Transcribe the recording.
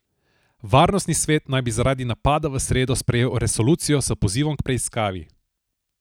Varnostni svet naj bi zaradi napada v sredo sprejel resolucijo s pozivom k preiskavi.